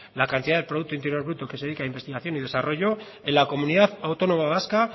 la cantidad de producto interior bruto que se dedica a investigación y desarrollo en la comunidad autónoma vasca